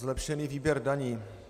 Zlepšený výběr daní.